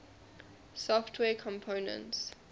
software components